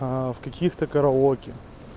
а в каких-то караоке